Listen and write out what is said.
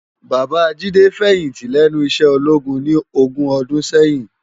Baba Jide fèyinti lènú iṣè ólógún ni ógùn òdùn sèyin